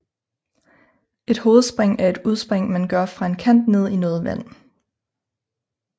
Et hovedspring er et udspring man gør fra en kant ned i noget vand